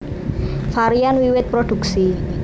Varian wiwit produksi